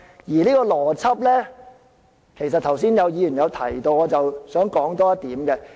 而這個邏輯剛才也有議員提到，我想再跟進一點。